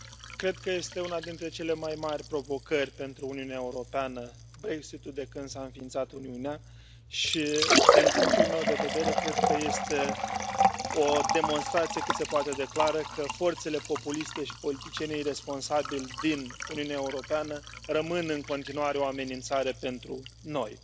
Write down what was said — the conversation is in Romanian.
Cred că este una dintre cele mai mari provocări pentru Uniunea Europeană Brexitul de când s a înființat Uniunea și din punctul meu de vedere cred că este o demonstrație cât se poate de clară că forțele populiste și politicienii iresponsabili din Uniunea Europeană rămân în continuare o amenințare pentru noi.